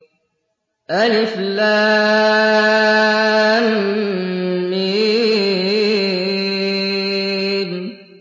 الم